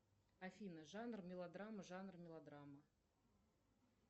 афина жанр мелодрама жанр мелодрама